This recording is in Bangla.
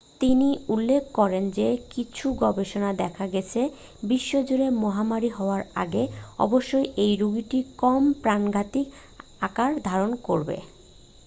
তিনি উল্লেখ করেন যে কিছু গবেষণায় দেখা গেছে বিশ্বজুড়ে মহামারী হওয়ার আগে অবশ্যই এই রোগটি কম প্রাণঘাতী আকার ধারণ করবে